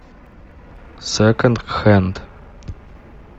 секонд хенд